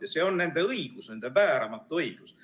Ja see on nende õigus, nende vääramatu õigus.